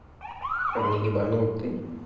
он не ебанутый